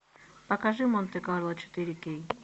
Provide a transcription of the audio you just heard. покажи монте карло четыре кей